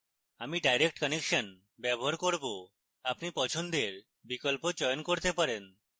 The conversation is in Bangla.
আমি direct connection ব্যবহার করব আপনি পছন্দের বিকল্প চয়ন করতে পারেন